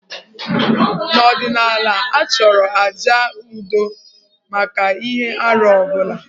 N'ọdịnala, a chọrọ àjà udo maka ihe arụ ọ bụla.